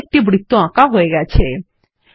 পৃষ্ঠায় একটি বৃত্ত আঁকা হয়ে গেছে